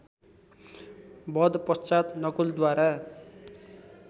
वध पश्चात नकुलद्वारा